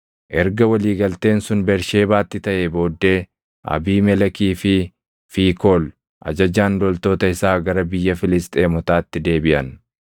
Erga walii galteen sun Bersheebaatti taʼee booddee Abiimelekii fi Fiikool ajajaan loltoota isaa gara biyya Filisxeemotaatti deebiʼan.